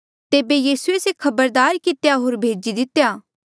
तेबे यीसूए से खबरदार कितेया होर भेजी दितेया